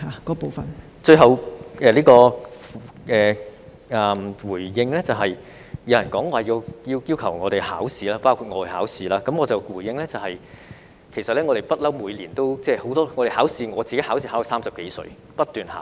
我最後想回應的是，有人要求醫生——包括我——去考試，我的回應是，其實我們一向都會每年考試，我自己考試亦考到30多歲，不斷地考。